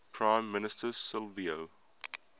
prime minister silvio